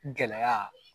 Gɛlɛya